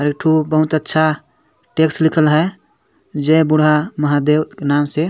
और एक ठो बहुत अच्छा टेक्स लिखल है जय बुढा महादेव के नाम से--